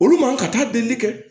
Olu man ka taa delili kɛ